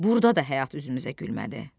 Burda da həyat üzümüzə gülmədi.